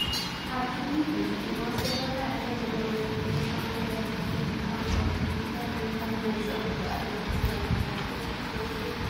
ኣብዚ ሕዚ እዋን ዝተፈላለዩ ዓይታት ዘለዎም ናይ ንህፃውንቲ ተባሂሎም ዝተሰርሑ ንህፃውንቲ ቆርበት ዝኾኑ ዝተፈላለዩ ከም ናይ ፀጉሪ ቅብዓት፣ ሎሽን፣ ቫዝሊን ብበዝሒ እናተሸጡ ይርከቡ።